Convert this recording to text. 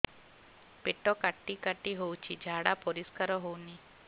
ପେଟ କାଟି କାଟି ହଉଚି ଝାଡା ପରିସ୍କାର ହଉନି